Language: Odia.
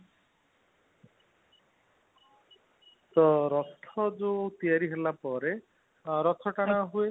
ତ ରଥ ଜଉ ତିଆରି ହେଲା ପରେ ରଥ ଟଣା ହୁଏ